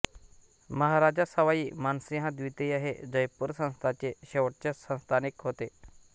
महाराजा सवाई मानसिंह द्वितीय हे जयपूर संस्थानाचे शेवटचे संस्थानिक होते